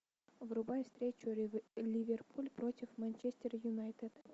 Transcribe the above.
врубай встречу ливерпуль против манчестер юнайтед